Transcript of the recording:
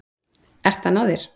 Ert að ná þér.